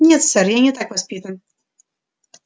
нет сэр я не так воспитан